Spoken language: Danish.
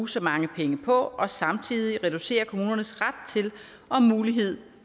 så mange penge på og samtidig reducere kommunernes ret til og mulighed